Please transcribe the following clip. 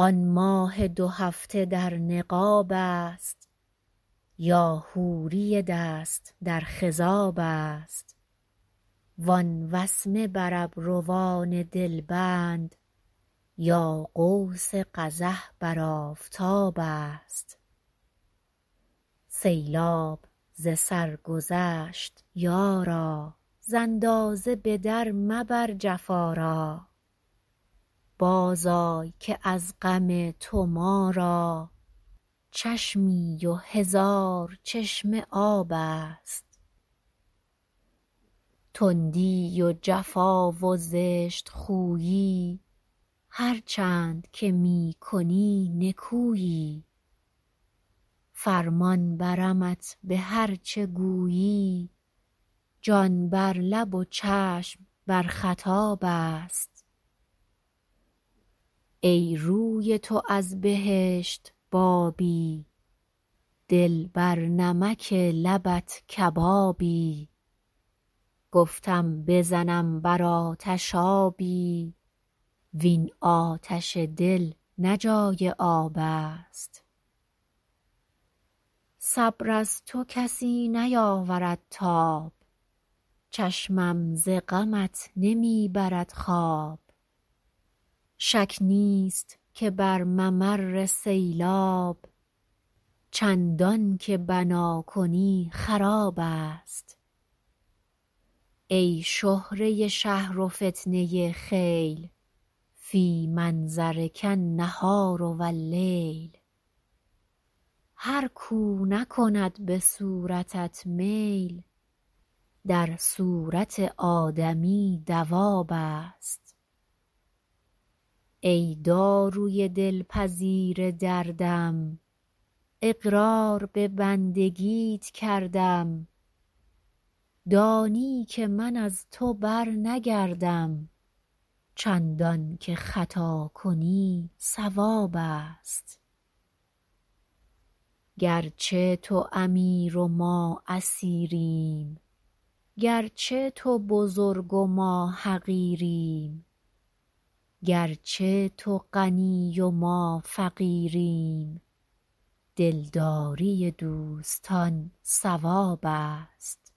آن ماه دو هفته در نقاب است یا حوری دست در خضاب است وان وسمه بر ابروان دلبند یا قوس قزح بر آفتاب است سیلاب ز سر گذشت یارا ز اندازه به در مبر جفا را بازآی که از غم تو ما را چشمی و هزار چشمه آب است تندی و جفا و زشت خویی هرچند که می کنی نکویی فرمان برمت به هر چه گویی جان بر لب و چشم بر خطاب است ای روی تو از بهشت بابی دل بر نمک لبت کبابی گفتم بزنم بر آتش آبی وین آتش دل نه جای آب است صبر از تو کسی نیاورد تاب چشمم ز غمت نمی برد خواب شک نیست که بر ممر سیلاب چندان که بنا کنی خراب است ای شهره شهر و فتنه خیل فی منظرک النهار و اللیل هر کاو نکند به صورتت میل در صورت آدمی دواب است ای داروی دلپذیر دردم اقرار به بندگیت کردم دانی که من از تو برنگردم چندان که خطا کنی صواب است گرچه تو امیر و ما اسیریم گرچه تو بزرگ و ما حقیریم گرچه تو غنی و ما فقیریم دلداری دوستان ثواب است